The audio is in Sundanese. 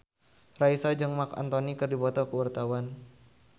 Raisa jeung Marc Anthony keur dipoto ku wartawan